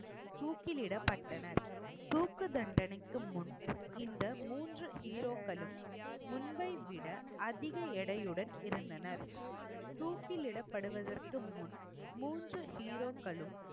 தூக்கிலிடப்பட்டனர். தூக்கு தண்டனைக்கு முன் இந்த மூன்று hero க்களும் முன்பை விட அதிக எடையுடன் இருந்தனர். தூக்கில் இடப்படுவதற்கு முன் இந்த மூன்று heroக்களும்